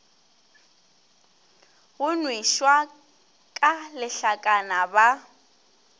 go nwešwa ka lehlakana ba